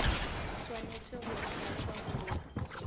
swanetše go tlatšwa go ya